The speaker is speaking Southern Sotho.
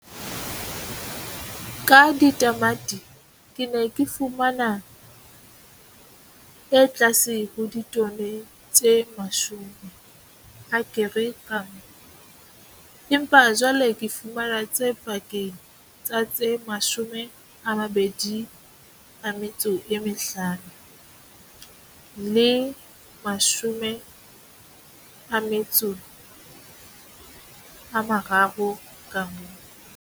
Ka ditamati ke ne ke fumana e tlase ho ditone tse 10 akere ka nngwe, empa jwale ke fumana tse pakeng tsa tse 25 le 30 akere ka nngwe.